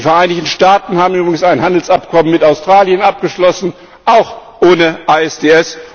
Die Vereinigten Staaten haben übrigens ein Handelsabkommen mit Australien abgeschlossen auch ohne ISDS.